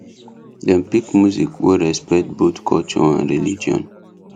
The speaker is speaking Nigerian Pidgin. dem pick music wey respect both culture and religion